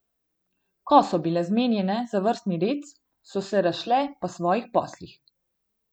Ko so bile zmenjene za vrstni red, so se razšle po svojih poslih.